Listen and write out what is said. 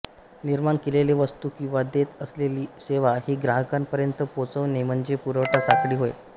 निर्माण केलेली वस्तू किंवा देत असलेली सेवा ही ग्राहकांपर्यंत पोहोचवणे म्हणजे पुरवठा साखळी होय